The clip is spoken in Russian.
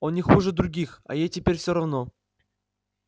он не хуже других а ей теперь всё равно